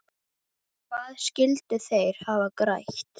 Hvað skyldu þeir hafa grætt?